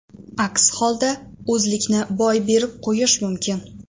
Aks holda, o‘zlikni boy berib qo‘yish mumkin.